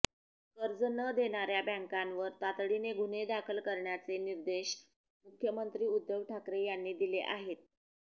कर्ज न देणाऱ्या बॅंकांवर तातडीने गुन्हे दाखल करण्याचे निर्देश मुख्यमंत्री उद्धव ठाकरे यांनी दिले आहेत